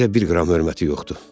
Bizə bir qram hörməti yoxdur.